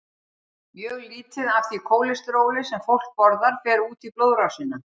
Mjög lítið af því kólesteróli sem fólk borðar fer út í blóðrásina.